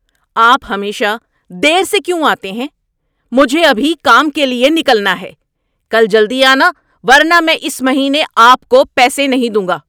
آپ ہمیشہ دیر سے کیوں آتے ہیں؟ مجھے ابھی کام کے لیے نکلنا ہے! کل جلدی آنا ورنہ میں اس مہینے آپ کو پیسے نہیں دوں گا۔